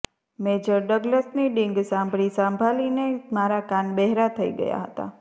major ડગલસની ડીંગ સાંભળી સાંભલીને મારા કાન બહેરા થઈ ગયા હતાં